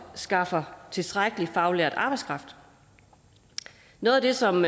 skaffer tilstrækkelig faglært arbejdskraft noget af det som